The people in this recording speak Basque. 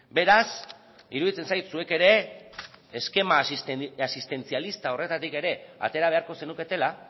beraz iruditzen zait zuek ere eskema asistentzialista horretatik ere atera beharko zenuketela